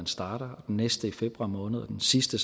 starter den næste i februar måned og den sidste